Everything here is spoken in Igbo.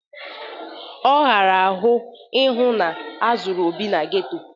Ọ ghara ahụ ihu na azuru Obi n'geto